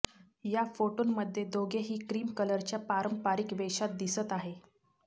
या फोटोंमध्ये दोघेही क्रिम कलरच्या पारंपारिक वेशात दिसत आहेत